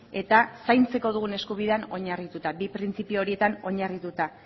eta zaintzeko dugun eskubidean oinarrituta bi printzipio horietan oinarrituta